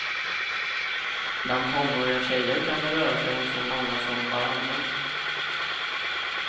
Bland tonåriga tjejer kan det röra sig om så många som varannan.